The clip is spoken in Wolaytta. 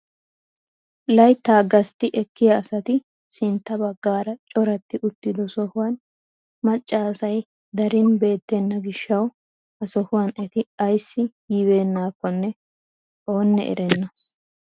Layttaa gastti ekkiyaa asati sintta baggaara coratti uttido sohuwaan macca asay darin beettena giishshawu ha sohuwaan eti ayssi yi bennakonne oonne erenna!